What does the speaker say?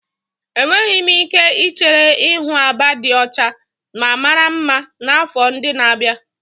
Enweghị m ike ichere ịhụ Aba dị ọcha ma mara mma n'afọ ndị na-abịa.